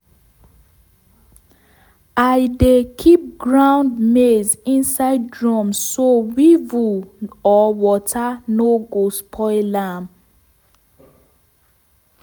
i dey keep ground maize inside drum so weevil or water no go spoil am.